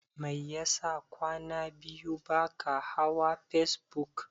Mai yasa kwana biyu baka hawa facebook?